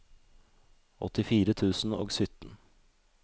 åttifire tusen og sytten